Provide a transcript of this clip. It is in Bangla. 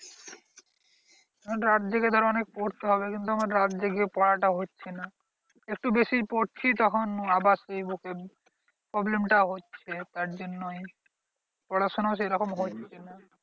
রাত জেগে ধর অনেক পড়তে হবে কিন্তু আমার রাত জেগে পড়াটা হচ্ছে না। একটু বেশি পড়ছি তখন আবার সেই বুকে problem টা হচ্ছে। তার জন্যই পড়াশোনাও সেরকম হচ্ছে না।